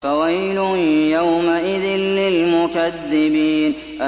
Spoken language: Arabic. فَوَيْلٌ يَوْمَئِذٍ لِّلْمُكَذِّبِينَ